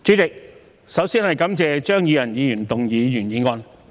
主席，我首先感謝張宇人議員動議原議案。